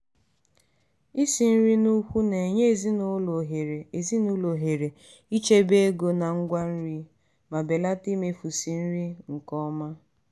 isi nri n'ukwu na-enye ezinụlọ ohere ezinụlọ ohere ichebe ego na ngwa nri ma belata imefusi nri nke ọma.